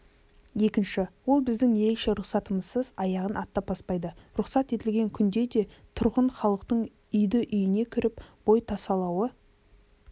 екінші ол біздің ерекше рұқсатымызсыз аяғын аттап баспайды рұқсат етілген күнде де тұрғын халықтың үйді-үйіне кіріп бой тасалауы